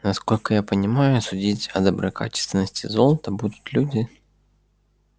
насколько я понимаю судить о доброкачественности золота будут люди